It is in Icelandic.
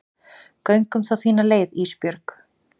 Göngum þá þína leið Ísbjörg.